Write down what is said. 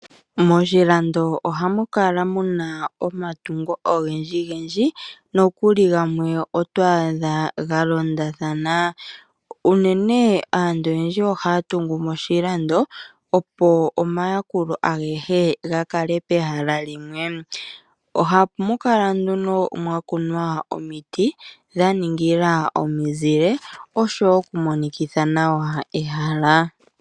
Moshilando ohamu kala muna oomatungo ogendji gendji noku li gamwe oto adha ga londathana. Unene aantu oyendji ohaya tungu moshilando opo omayakulo agehe ga kale pehala limwe. Ohamu kala nduno mwa kunwa omiti dha ningila omi zile oshowo oku monikitha nawa ehala.